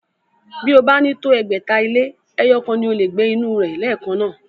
Bí ó bá ní tó ẹgbẹ̀ta ilé, ẹyọ̀kan ni o lè gbé inú rẹ̀ lẹ́ẹ̀kan náà